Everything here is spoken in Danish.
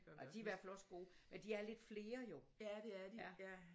Og de er i hvert fald også gode men de er lidt flere jo